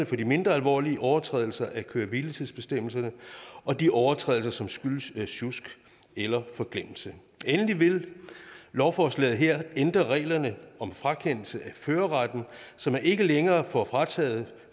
for de mindre alvorlige overtrædelser af køre hvile tids bestemmelserne og de overtrædelser som skyldes sjusk eller forglemmelse endelig vil lovforslaget her ændre reglerne om frakendelse af førerretten så man ikke længere får frataget